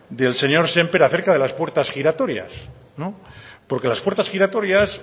del señor sémper acerca de las puertas giratorias no porque las puertas giratorias